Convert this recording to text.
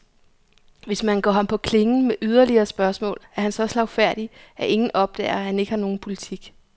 Hvis man går ham på klingen med yderligere spørgsmål, er han så slagfærdig, at ingen opdager, at han ikke har nogen politik.